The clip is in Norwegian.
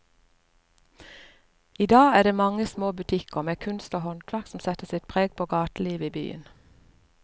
I dag er det de mange små butikkene med kunst og håndverk som setter sitt preg på gatelivet i byen.